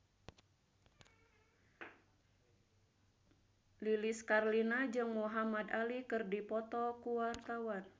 Lilis Karlina jeung Muhamad Ali keur dipoto ku wartawan